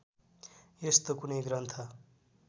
यस्तो कुनै ग्रन्थ